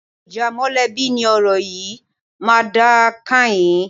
Ìjà mọ̀lẹ́bí ni ọ̀rọ̀ yìí máa dà kányìn